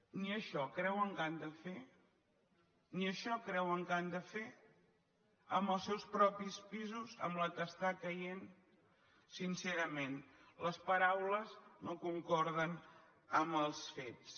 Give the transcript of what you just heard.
ni això creuen que han de fer ni això creuen que han de fer amb els seus propis pisos amb la que està caient sincerament les paraules no concorden amb els fets